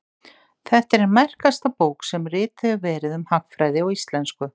Þetta er ein merkasta bók sem rituð hefur verið um hagfræði á íslensku.